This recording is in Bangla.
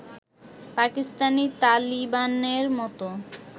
পাকিস্তানী তালিবানের মত